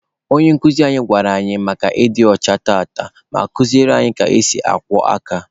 Onye nkuzi anyị gwara anyị maka ịdị ọcha tata, ma kuziere anyị ka esi akwọ aka.